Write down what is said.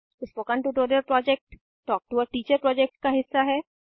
spoken tutorial project talk to a teacher project का हिस्सा है